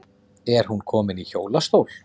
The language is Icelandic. Er hún komin í hjólastól?